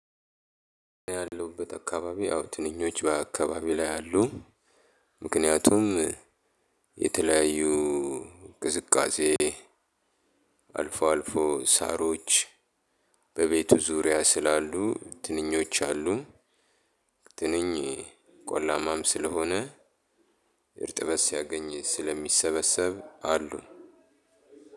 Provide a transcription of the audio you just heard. ያለውበት አካባቢ አዎ ትንኞች በአካባቢው ላይ አሉ። ምክንያቱም የተለያዩ ቅዝቃዜ አልፎ አልፎ ሳሮች በቤቱ ዙሪያ ስላሉ ትንኞች አሉ። ትንኝ ቆላማም ስለሆነ እርጥበት ሲያገኝ ስለሚሰበሰብ አሉ።